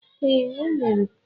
Ee, o mere.